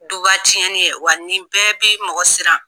Duba tiɲɛnni ye wa nin bɛɛ bɛ mɔgɔ siran.